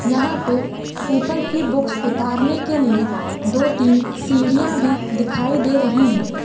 यहाँ पे ऊपर की बुक्स उतारने के लिए दो तीन सीढ़िया भी दिखाई दे रही है।